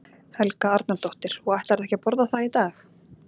Helga Arnardóttir: Og ætlarðu ekki að borða það í dag?